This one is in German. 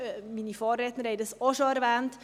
Meine Vorredner haben das auch schon erwähnt.